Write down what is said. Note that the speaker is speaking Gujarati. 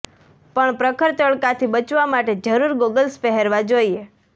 પણ પ્રખર તડકાથી બચવા માટે જરૂર ગોગલ્સ પહેરવા જોઈએ